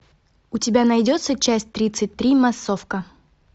у тебя найдется часть тридцать три массовка